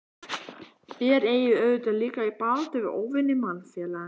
Þér eigið auðvitað líka í baráttu við óvini mannfélagsins?